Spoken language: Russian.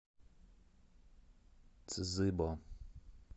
цзыбо